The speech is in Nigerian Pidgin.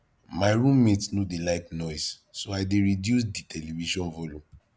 my room mate no dey like noise so i dey reduce di television volume